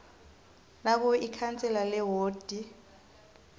nakube ikhansela lewodi